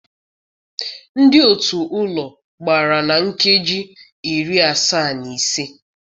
Ndị otu ụlọ gbara na nkeji iri asaa na ise.